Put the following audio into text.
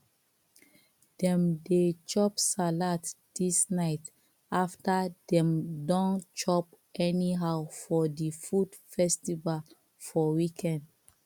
dem dey chop salad this night after dem don chop anyhow for the food festival for weekend